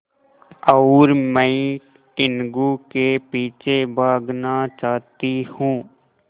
और मैं टीनगु के पीछे भागना चाहती हूँ